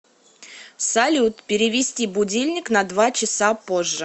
салют перевести будильник на два часа позже